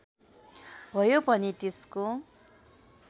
भयो भने त्यसको